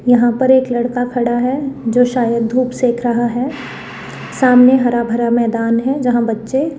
यहाँ पर एक लड़का खड़ा है जो शायद धूप सेंक रहा है सामने हरा भरा मैदान है जहाँ बच्चे --